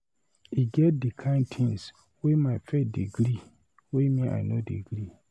E get di kain tins wey my faith dey gree wey me, I no dey gree.